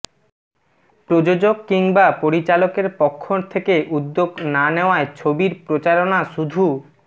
প্রযোজক কিংবা পরিচালকের পক্ষ থেকে উদ্যোগ না নেওয়ায় ছবির প্রচারণা শুধু